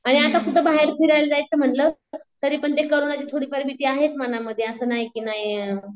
आणि आता कुठं बाहेर फिरायला जायचं म्हंटल तरीपण ते कोरोनाची थोडीफार भीती आहेच म्हणा मनामध्ये असं नाही की